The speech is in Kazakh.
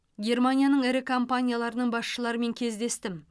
германияның ірі компанияларының басшыларымен кездестім